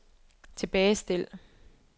tilbagestil